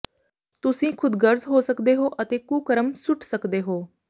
ਤੁਸੀਂ ਖ਼ੁਦਗਰਜ਼ ਹੋ ਸਕਦੇ ਹੋ ਅਤੇ ਕੁਕਰਮ ਸੁੱਟ ਸਕਦੇ ਹੋ